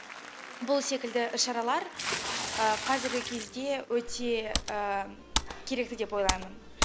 бұл секілді іс шаралар қазіргі кезде өте керекті деп ойлаймын